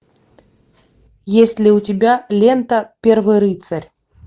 есть ли у тебя лента первый рыцарь